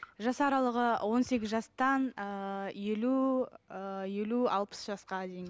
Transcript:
жас аралығы он сегіз жастан ыыы елу ы елу алпыс жасқа дейін